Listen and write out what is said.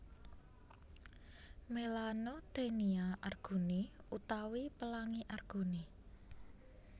Melanotaenia arguni utawi Pelangi Arguni